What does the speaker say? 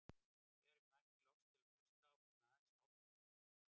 Þegar ég mætti loks til að hlusta átti hann aðeins hálft orð eftir.